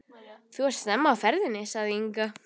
Þú ert snemma á ferðinni, sagði Inga.